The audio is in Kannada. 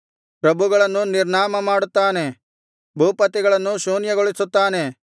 ಪ್ರಭುಗಳನ್ನು ನಿರ್ನಾಮ ಮಾಡುತ್ತಾನೆ ಭೂಪತಿಗಳನ್ನು ಶೂನ್ಯಗೊಳಿಸುತ್ತಾನೆ